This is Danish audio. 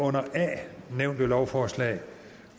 under a nævnte lovforslag